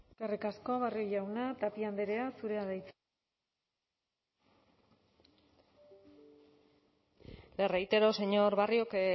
eskerrik asko barrio jauna tapia andrea zurea da hitza le reitero señor barrio que